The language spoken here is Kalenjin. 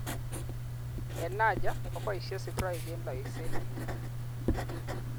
Eng Niger, keboishe sigirok eng loiset.